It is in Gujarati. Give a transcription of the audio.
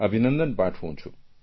અભિનંદન પાઠવું છું